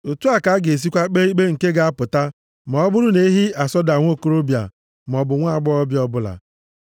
Otu a ka a ga-esikwa kpee ikpe nke ga-apụta ma ọ bụrụ na ehi asọda nwokorobịa maọbụ nwaagbọghọ ọbụla.